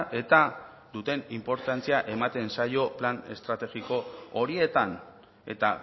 eta duten inportantzia ematen zaio plan estrategiko horietan eta